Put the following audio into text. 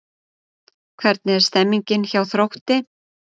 Hvernig er stemningin hjá Þrótti?